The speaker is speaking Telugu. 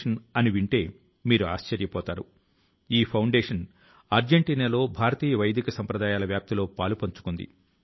మనకు ఎంతో ఆనందాన్ని ఇచ్చే ప్రదేశాల ను అపరిశుభ్రం గా మార్చకుండా చూడవలసిన బాధ్యత ప్రతి దేశవాసి ది